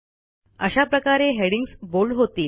अशा प्रकारे headings bold होतील